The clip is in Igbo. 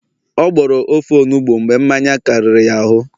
ọ gboro ofe onugbu mgbe mmanya kariri ya ahu